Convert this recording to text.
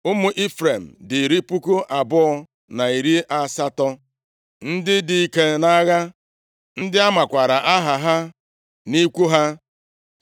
Ụmụ Ifrem dị iri puku abụọ na narị asatọ (20,800), ndị dị ike nʼagha, ndị a makwaara aha ha nʼikwu ha.